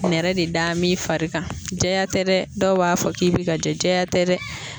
Nɛrɛ be da min fari kan, jɛya tɛ dɛ. Dɔw b'a fɔ k'i be ka jɛ , jɛya tɛ dɛ.